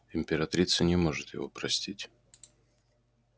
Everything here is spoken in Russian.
императрица не может его простить